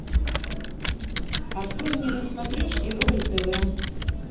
открой мне на смотрешке рубль тв